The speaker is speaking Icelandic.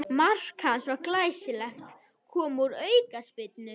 Mark hans var glæsilegt, kom úr aukaspyrnu.